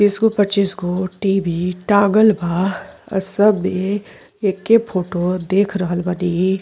बीस गो पच्चीस गो टी.वी. टांगल बा। आ सबमें ऐके फोटो देख रहल बानी।